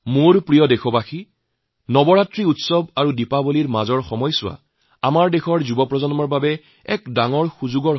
মোৰ প্ৰিয় দেশবাসী নৱৰাত্ৰিৰ উৎসৱ আৰু দীপাৱলীৰ মাজৰ এই সময়চোৱা আমাৰ দেশৰ যুব প্ৰজন্মৰ বাবে এক ডাঙৰ সুযোগ